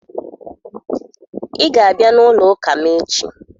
Ị ga-abịa n'ụlọụka m echi